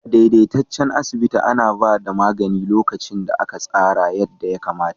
A daidaitaccen asibiti ana ba da magani lokacin da aka tsara yadda ya kamata.